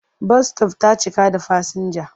Bas -sitof ta cika da fasinja.